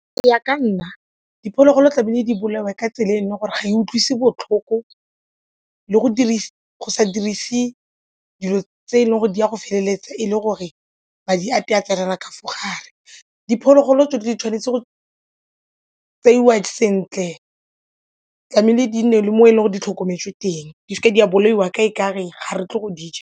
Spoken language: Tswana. Go ya ka nna diphologolo tlamehile di bolawe ka tsela e e leng gore ga e utlwisi botlhoko le go sa dirise dilo tse e leng gore di a go feleletsa e le gore madi a ya tsenela kafa gare diphologolo tse di tshwanetse go tseiwa sentle tlamehile di nne le mo e leng gore di tlhokometswe teng di seke di a bolaiwa ka e kare ga re tlile go di ja.